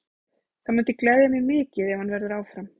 Það myndi gleðja mig mikið ef hann verður áfram.